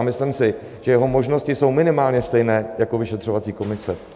A myslím si, že jeho možnosti jsou minimálně stejné jako vyšetřovací komise.